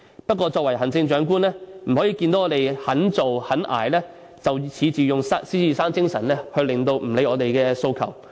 不過，作為行政長官不能看到我們肯做肯捱，便恃着獅子山精神而不理會我們的訴求。